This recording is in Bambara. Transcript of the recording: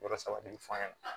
Yɔrɔ saba de bi fɔ an ɲɛna